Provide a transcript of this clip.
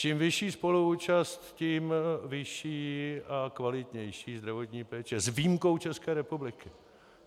Čím vyšší spoluúčast, tím vyšší a kvalitnější zdravotní péče - s výjimkou České republiky.